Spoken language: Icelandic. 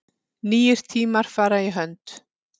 Nýir tímar fara í hönd